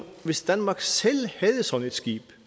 hvis danmark selv havde sådan et skib